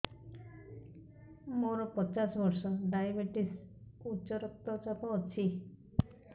ମୋର ପଚାଶ ବର୍ଷ ଡାଏବେଟିସ ଉଚ୍ଚ ରକ୍ତ ଚାପ ଅଛି